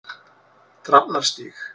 Drafnarstíg